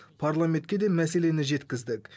парламентке де мәселені жеткіздік